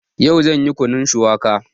Yau zan yi Kunun shuwaka